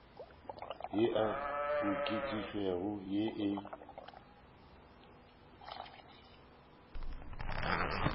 ye e okeditšwego ye e